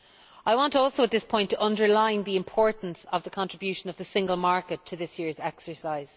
I want also at this point to underline the importance of the contribution of the single market to this year's exercise.